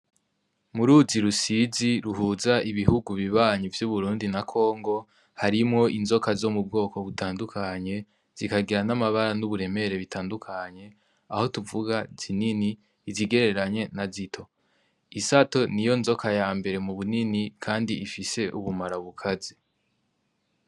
Muruzi rusizi ruhuza ibihugu bibanyi vy'uburundi na kongo harimwo inzoka zo m'ubwoko butandukanye, zikagira n'amabara n'uburemere bitandukanye aho tuvuga zinini, izigereranye na zito isato niyo nzoka yambere mubunini kandi ifise ubumara bukaze.